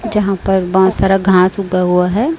जहां पर बहुत सारा घांस उगा हुआ है।